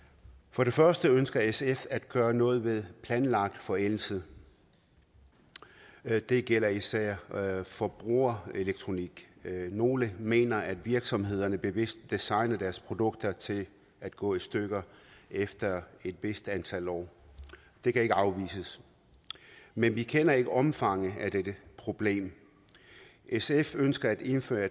for det første ønsker sf at gøre noget ved planlagt forældelse det gælder især forbrugerelektronik nogle mener at virksomhederne bevidst designer deres produkter til at gå i stykker efter et vist antal år det kan ikke afvises men vi kender ikke omfanget af dette problem sf ønsker at indføre